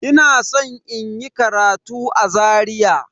Ina san inyi karatu a Zaria.